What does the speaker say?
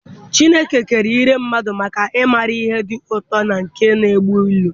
Chineke kere irè mmadụ maka ị mara ihe dị ụtọ na nke na-egbu ilu.